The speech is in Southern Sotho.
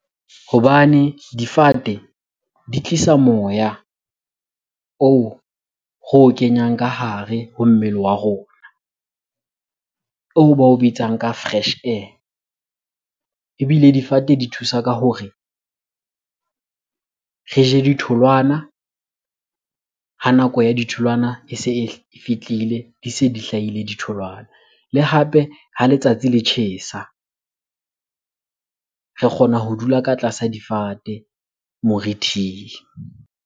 Hobane difate di tlisa moya oo re o kenyang ka hare ho mmele wa rona. O bao bitsang ka fresh air. Ebile difate di thusa ka hore re je ditholwana ha nako ya ditholwana e se e fihlile, di se di hlahile ditholwana. Le hape ha letsatsi le tjhesa re kgona ho dula ka tlasa difate morithing.